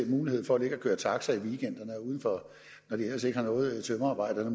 mulighed for at ligge og køre taxa i weekenderne og når de ellers ikke har noget tømrerarbejde eller